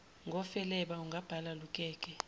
ngofeleba ungabhala lukeke